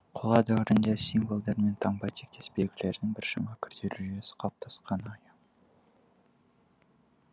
қола дәуірінде символдар мен таңба тектес белгілердің біршама күрделі жүйесі қалыптасқаны аян